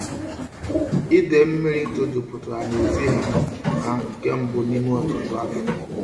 Ide mmiri to juputara n'ezi ha ha nke mbu n'ime otutu afo.